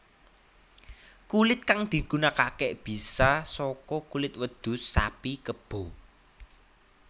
Kulit kang digunakake bisa saka kulit wedhus sapi kebo